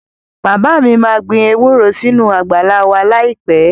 Bàbá mi máa gbin ewúro sínú àgbàlá wa láìpẹ́